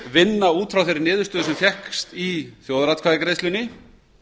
vinna út frá þeirri niðurstöðu sem fékkst í þjóðaratkvæðagreiðslunni